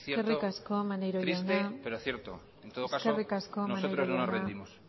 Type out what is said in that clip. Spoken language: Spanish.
eskerrik asko maneiro jauna triste pero cierto en todo caso nosotros no nos rendimos